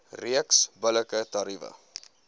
reeks billike tariewe